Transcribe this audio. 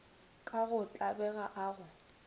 ka go tlabega a go